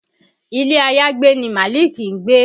Ilẹ́ àyágbé ni Malik ń gbé